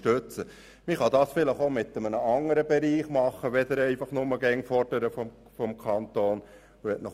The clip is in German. Vielleicht kann man das auch in einem anderen Bereich tun, anstatt einfach immer nur vom Kanton Geld zu fordern.